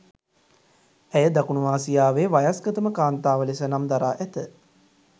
ඇය දකුණු ආසියාවේ වයස්ගතම කාන්තාව ලෙස නම් දරා ඇත